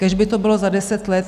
Kéž by to bylo za deset let.